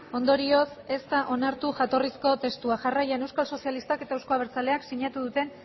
ondorioz ez da onartu jatorrizko testua jarraian euskal sozialistak eta euzko abertzaleak sinatu duten